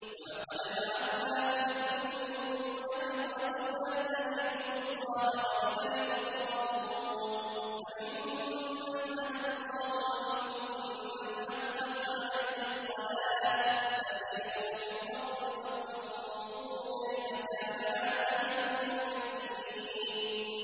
وَلَقَدْ بَعَثْنَا فِي كُلِّ أُمَّةٍ رَّسُولًا أَنِ اعْبُدُوا اللَّهَ وَاجْتَنِبُوا الطَّاغُوتَ ۖ فَمِنْهُم مَّنْ هَدَى اللَّهُ وَمِنْهُم مَّنْ حَقَّتْ عَلَيْهِ الضَّلَالَةُ ۚ فَسِيرُوا فِي الْأَرْضِ فَانظُرُوا كَيْفَ كَانَ عَاقِبَةُ الْمُكَذِّبِينَ